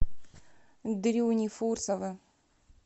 дрюни фурсова